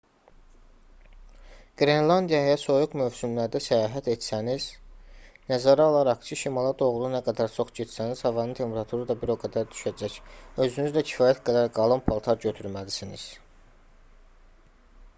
qrenlandiyaya soyuq mövsümlərdə səyahət etsəniz nəzərə alaraq ki şimala doğru nə qədər çox getsəniz havanın temperaturu da bir o qədər düşəcək özünüzlə kifayət qədər qalın paltar götürməlisiniz